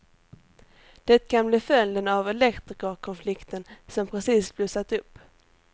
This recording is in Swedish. Det kan bli följden av elektrikerkonflikten som precis blossat upp.